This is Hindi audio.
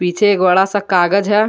पीछे एक बड़ा सा कागज है।